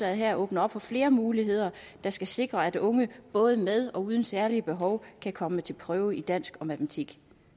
her åbner op for flere muligheder der skal sikre at unge både med og uden særlige behov kan komme til prøve i dansk og matematik